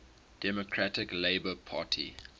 democratic labour party